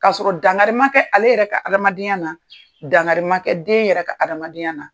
Ka sɔrɔ dangari ma kɛ ale yɛrɛ ka adamadenya na, dangari ma kɛ den yɛrɛ ka adamadenya na.